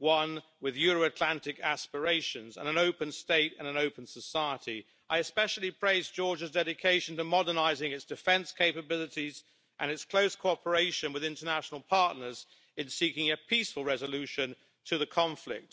one with Euro Atlantic aspirations and an open state and an open society. I especially praise Georgia's dedication to modernising its defence capabilities and its close cooperation with international partners in seeking a peaceful resolution to the conflict.